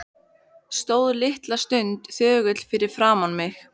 Stóð litla stund þögull fyrir framan mig.